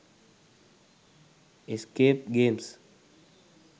escape games